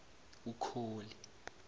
ukholi